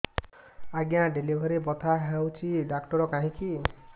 ଆଜ୍ଞା ଡେଲିଭରି ବଥା ହଉଚି ଡାକ୍ତର କାହିଁ କି